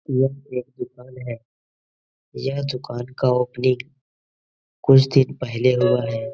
यह एक दुकान है यह दुकान का ओपनिंग कुछ दिन पहले हुआ है।